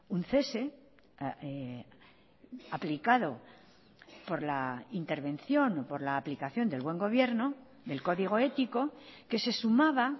un cese aplicado por la intervención o por la aplicación del buen gobierno del código ético que se sumaba